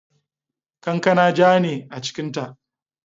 Kankana ja ne a cikinta.